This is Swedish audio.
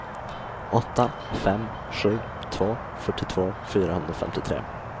åtta fem sju två fyrtiotvå fyrahundrafemtiotre